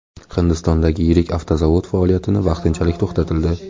Hindistondagi yirik avtozavod faoliyatini vaqtinchalik to‘xtatildi.